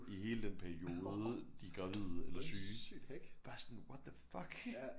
I hele den periode de er gravide eller syge bare sådan what the fuck